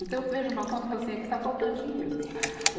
Então eu vejo uma conta e falo assim, aqui está faltando dinheiro.